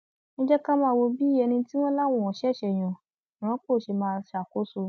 ẹ jẹ ká máa wo bí ẹni tí wọn láwọn ṣẹṣẹ yàn rọpò ṣe máa ṣàkóso